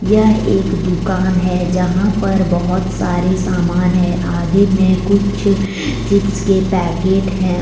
यह एक दुकान है जहां पर बहोत सारे सामान है आगे मे कुछ चिप्स के पैकेट हैं।